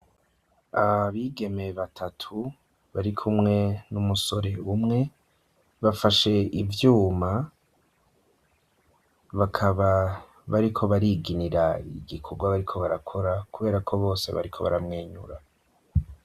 Abigeme batatu, bari kumwe n'umusore umwe, bafashe ivyuma, bakaba bariko bariginira igikorwa bariko barakora, kubera ko bose bariko baramwenyura.